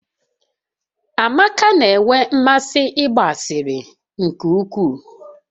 Amaka na-enwe mmasị ịgba asịrị nke ukwuu